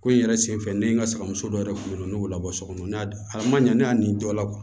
Ko in yɛrɛ sen fɛ ne ye n ka seamuso dɔ yɛrɛ kun bɛ ne y'o labɔ so kɔnɔ ne y'a man ɲɛ dɔ la